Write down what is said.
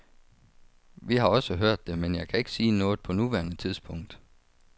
Vi har også hørt det, men jeg kan ikke sige noget på nuværende tidspunkt.